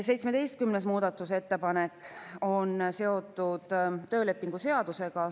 17. muudatusettepanek on seotud töölepingu seadusega.